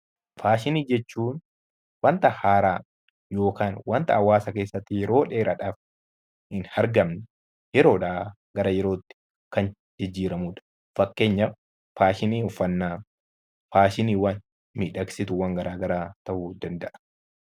Faashinii jechuun wanta haaraa yookiin wanta hawwaasa keessatti yeroo dheeraaf hin argamne yeroodhaa gara yerootti kan jijjiiramuudha. Fakkeenyaaf faashinii uffanna, faashinii miidhagsituu garaa garaa ta'uu danda'a.